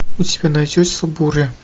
у тебя найдется буря